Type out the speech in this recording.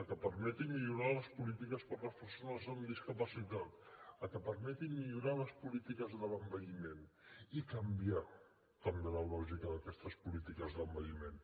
el que permeti millorar les polítiques per les persones amb discapacitat el que permeti millorar les polítiques de l’envelliment i canviar també la lògica d’aquestes polítiques de l’envelliment